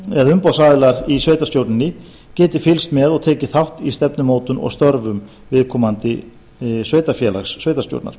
eða umboðsaðilar í sveitarstjórninni geti fylgst með og tekið þátt í stefnumótun og störfum viðkomandi sveitarfélags sveitarstjórnar